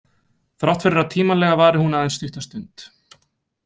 Þrátt fyrir að tímalega vari hún aðeins stutta stund.